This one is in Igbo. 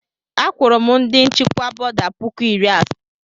Akwụru m ndị nchịkwa bọda puku iri asaa.